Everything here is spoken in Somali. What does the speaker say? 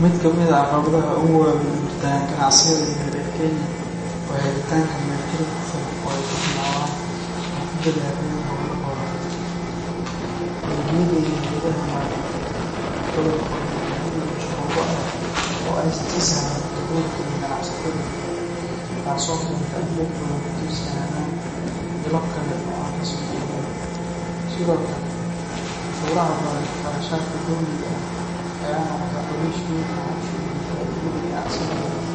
Mid kamid ah caqabadaha ugu waaweyn ee hortagan ganacsiyada yaryar ee Kenya waa helitaanka maalgelin ku filan oo ay ku bilaabaan ama ku ballaariyaan hawlahooda. Bangiyada iyo hay’adaha maaliyadeed badankoodu waxay leeyihiin shuruudo adag oo aysan si sahlan u dabooli karin ganacsatada yaryar, taasoo keenta in dad badan ku tiirsanaadaan ilo kale oo aan rasmi ahayn. Sidoo kale, canshuuraha badan iyo qarashaadka dowliga ah ayaa noqda culays weyn oo hoos u dhiga faa’iidada ganacsiyada yaryar.